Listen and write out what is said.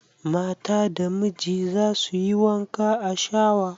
Mata da miji za su yi wanka a shawa